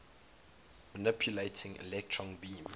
manipulating electron beams